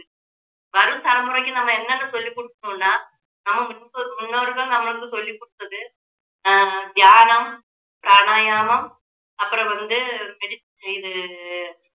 வரும் தலைமுறைக்கு நம்ம என்னன்னு சொல்லிக் கொடுக்கணும்னா நம்மளுடைய முன்னோர்கள் நம்மளுக்கு சொல்லிக் கொடுத்தது ஆஹ் தியானம் பிராணாயாமம் அப்புறம் வந்து medi~ இது